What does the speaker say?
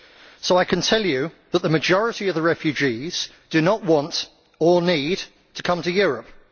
So I can tell you that the majority of the refugees do not want or need to come to Europe.